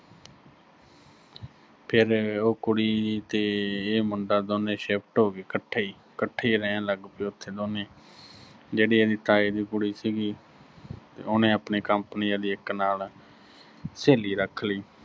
ਫਿਰ ਉਹ ਕੁੜੀ ਤੇ ਇਹ ਮੁੰਡਾ ਦੋਵੇਂ ਸ਼ਿਫ਼ਟ ਹੋਗੇ ਇਕੱਠੇ ਹੀ, ਇਕੱਠੇ ਹੀ ਰਹਿਣ ਲੱਗ ਪਏ ਉਥੇ ਦੋਨੇਂ, ਜਿਹੜੀ ਇਹਦੇ ਤਾਏ ਦੀ ਕੁੜੀ ਸੀਗੀ, ਉਹਨੇ ਆਪਣੀ company ਲਈ ਇੱਕ ਨਾਲ ਸਹੇਲੀ ਰੱਖ ਲੀ।